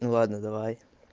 ну ладно давай